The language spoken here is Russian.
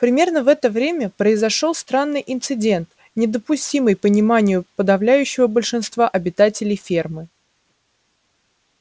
примерно в это время произошёл странный инцидент недоступный пониманию подавляющего большинства обитателей фермы